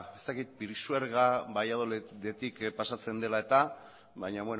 ez dakit pisuerga valladolidetik pasatzen dela eta baina